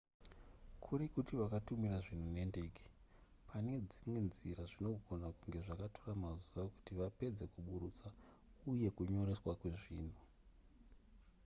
kuri kuti vakatumira zvinhu nendege pane dzimwe nzira zvinogona kunge zvakatora mazuva kuti vapedze kuburutsa uye kunyoreswa kwezvinhu